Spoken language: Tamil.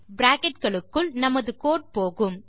பிராக்கெட் களுக்குள் நமது கோடு போகும்